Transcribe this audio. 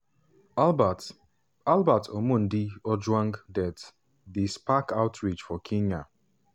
albert albert omondi ojwang death dey spark outrage for kenya.